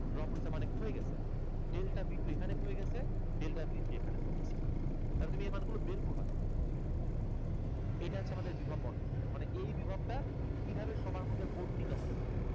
Drop হইসে মানে ক্ষয়ে গেসে। Delta b two এখানে ক্ষয়ে গেসে, delta b three এখানে ক্ষয়ে গেসে। তাহলে তুমি এর মান গুলো বের করবে কিভাবে? এটা হচ্ছে আমাদের বিভব বণ্টন সূত্র মানে এই বিভবটা কিভাবে সবার মধ্যে বন্টিত হবে তাই।